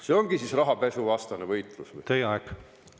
See ongi siis rahapesuvastane võitlus või?